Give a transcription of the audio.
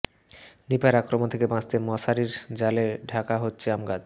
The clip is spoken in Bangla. নিপার আক্রমণ থেকে বাঁচতে মশারির জালে ঢাকা হচ্ছে আমগাছ